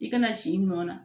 I kana si nɔ na